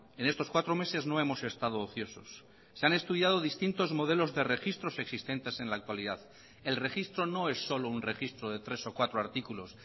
en estos cuatro meses no hemos estado ociosos se han estudiado distintos modelos de registros existentes en la actualidad el registro no es solo un registro de tres o cuatro artículos